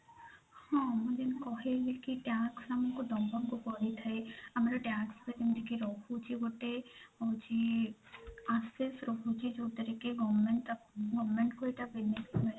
ହଁ ମୁଁ ଯେମିତି କହିଲି କି tax ଆମକୁ ଦବାକୁ ପଡିଥାଏ ଆମର tax ଯେମିତି କି ରହୁଛି ଗୋଟେ ହୋଉଛି access ରହୁଛି ଯୋଉଥିରେ କି goverment goverment କୁ ଏଇଟା payment